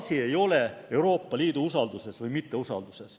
Asi ei ole Euroopa Liidu usaldamises või mitteusaldamises.